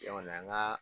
Yan kɔni an ka